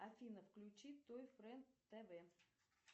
афина включи той френд тв